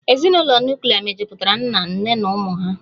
Ezinụlọ nuklia mejupụtara nna, nne na ụmụ ha